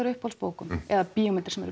á uppáhaldsbókum eða bíómyndum